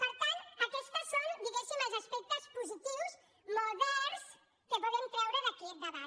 per tant aquests són diguéssim els aspectes posi·tius moderns que podem treure d’aquest debat